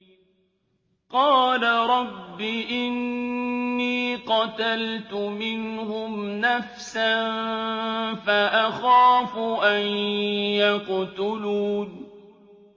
قَالَ رَبِّ إِنِّي قَتَلْتُ مِنْهُمْ نَفْسًا فَأَخَافُ أَن يَقْتُلُونِ